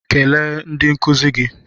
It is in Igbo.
Kelee ndị nkụzi gị.